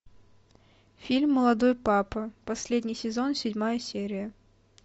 фильм молодой папа последний сезон седьмая серия